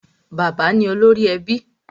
Bàbá ni olórí ẹbí.